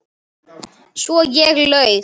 Svo ég laug.